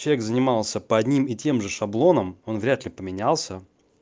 человек занимался по одним и тем же шаблоном он вряд ли поменялся